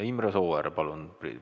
Imre Sooäär, palun!